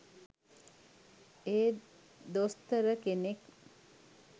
ඒත් දොස්තර කෙනෙක්